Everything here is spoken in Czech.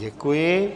Děkuji.